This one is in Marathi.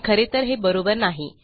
पण खरे तर हे बरोबर नाही